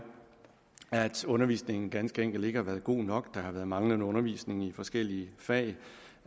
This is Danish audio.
at undervisningen ganske enkelt ikke har været god nok der har været manglende undervisning i forskellige fag